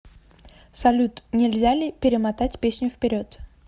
салют нельзя ли перемотать песню вперед